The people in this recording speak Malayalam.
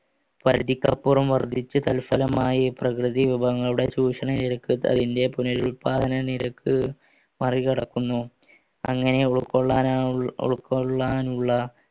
പരിധിക്കപ്പുറം വർദ്ധിച്ചു തത്സലമായി ഈ പ്രകൃതിവിഭവങ്ങളുടെ ചൂഷണം നിരക്ക് പുനരുൽപാദന നിരക്ക് മറികടക്കുന്നു അങ്ങനെ ഉൾക്കൊള്ളാനുള്ള